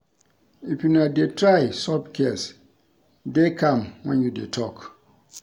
If una dey try solve case, dey calm when you dey talk